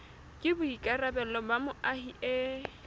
ke boikarabelo ba moahi e